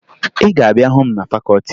Ị ga-abịa hụ m na fakọọti m!